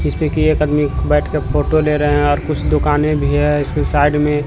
एक आदमी बैठकर फोटो ले रहा हैं और कुछ दुकानें भी है इसकी साइड में--